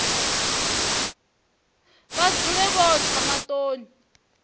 vha dzule vho tsha maṱoni